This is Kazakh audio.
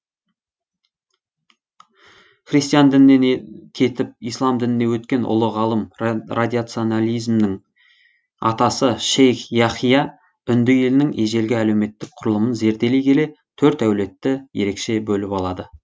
христиан дінінен кетіп ислам дініне өткен ұлы ғалым радиционализмнің атасы шейх яхья үнді елінің ежелгі әлеуметтік құрылымын зерделей келе төрт әулетті ерекше бөліп алады